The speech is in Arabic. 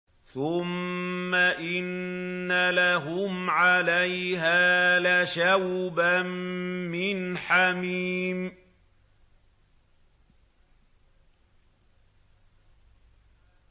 ثُمَّ إِنَّ لَهُمْ عَلَيْهَا لَشَوْبًا مِّنْ حَمِيمٍ